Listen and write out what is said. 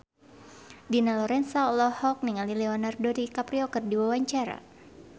Dina Lorenza olohok ningali Leonardo DiCaprio keur diwawancara